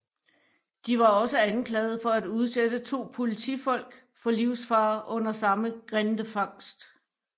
De var også anklaget for at udsætte to politifolk for livsfare under samme grindefangst